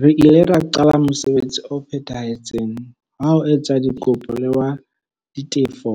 Re ile ra qala mosebetsi o phethahetseng wa ho etsa dikopo le wa ditefo,